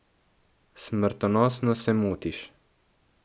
Smrtonosno se motiš.